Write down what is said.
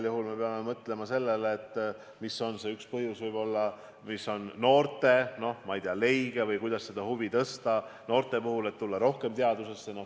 Me peame igal juhul mõtlema sellele, mis võib olla see üks viis, kuidas kasvatada noorte huvi, et nad tahaksid tulla rohkem teadusesse.